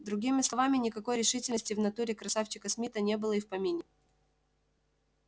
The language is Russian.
другими словами никакой решительности в натуре красавчика смита не было и в помине